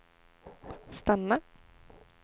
stanna